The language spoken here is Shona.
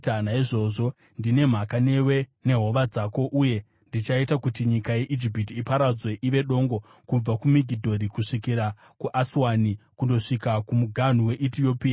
naizvozvo ndine mhaka newe nehova dzako, uye ndichaita kuti nyika yeIjipiti iparadzwe ive dongo kubva kuMigidhori kusvikira kuAswani, kundosvika kumuganhu weEtiopia.